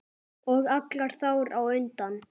Og alla þar á undan.